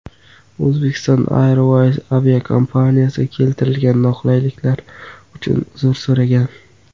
Uzbekistan Airways aviakompaniyasi keltirilgan noqulayliklar uchun uzr so‘ragan.